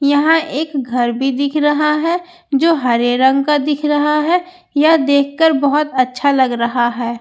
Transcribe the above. यहां एक घर भी दिख रहा है जो हरे रंग का दिख रहा है यह देखकर बहोत अच्छा लग रहा है।